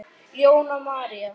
Jóna María.